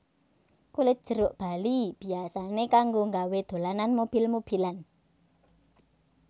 Kulit jeruk bali biyasané kanggo nggawé dolanan mobil mobilan